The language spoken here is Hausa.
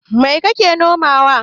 Mai kake nomawa?